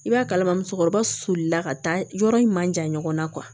I b'a kalama musokɔrɔba sulila ka taa yɔrɔ in man jan ɲɔgɔn na